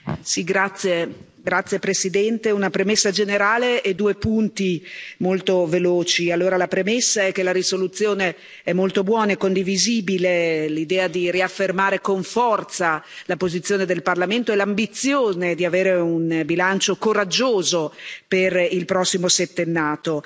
Signor Presidente, onorevoli colleghi, una premessa generale e due punti molto veloci. La premessa è che la risoluzione è molto buona. È condivisibile l'idea di riaffermare con forza la posizione del Parlamento e l'ambizione di avere un bilancio coraggioso per il prossimo settennato.